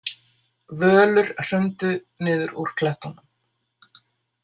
Völur hrundu niður úr klettunum.